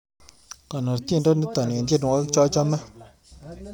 Gonor tyendo nito eng tyenwogik chachame